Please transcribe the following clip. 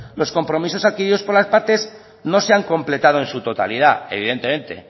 los compromisos adquiridos por las partes no se han completado en su totalidad evidentemente